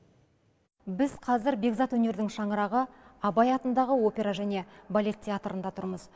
біз қазір бекзат өнердің шаңырағы абай атындағы опера және балет театрында тұрмыз